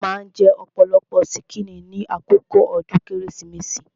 Wón maa ń jẹ ọ̀pọ̀lọpọ̀ ṣíkìnnì ní àkókò ọdún Kérésìmesì